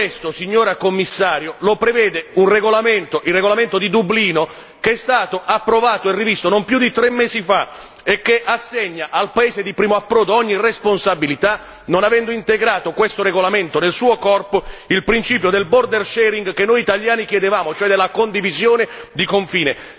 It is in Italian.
Tutto questo, signora Commissario, lo prevede un regolamento il regolamento di Dublino che è stato approvato e rivisto non più di tre mesi fa e che assegna al paese di primo approdo ogni responsabilità, non avendo integrato questo regolamento nel suo corpo il principio del border sharing che noi italiani chiedevamo, cioè della condivisione di confine.